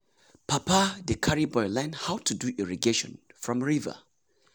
papa dey carry boy learn how to do irrigation from river.